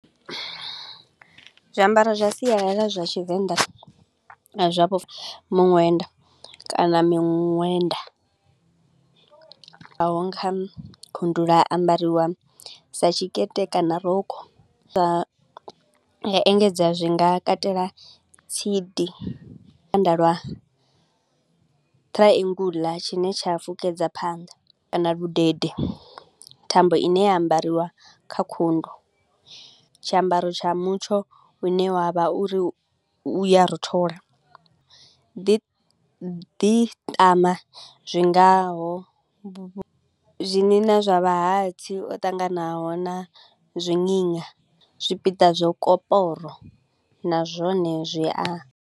Zwiambaro zwa sialala zwa Tshivenḓa, zwa vho muṅwenda kana miṅwenda. Ha ambariwa sa tshikete kana rokho, zwa engedza zwi nga katela tsidi lwa triangle tshine tsha fukedza phanḓa kana ludede thambo i ne ya ambariwa kha khundu. Tshiambaro tsha mutsho u ne wa vha uri u ya rothola, ḓi ḓiṱama zwingaho vhu vhu zwigina zwa vha hatsi o ṱanganaho na zwigina zwipiḓa zwa koporo na zwone zwi a.